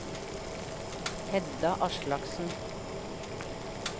Hedda Aslaksen